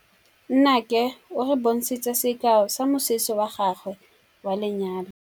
Nnake o re bontshitse sekaô sa mosese wa gagwe wa lenyalo.